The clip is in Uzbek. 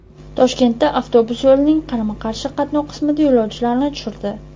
Toshkentda avtobus yo‘lning qarama-qarshi qatnov qismida yo‘lovchilarni tushirdi.